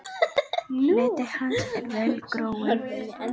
Hluti hans er vel gróinn.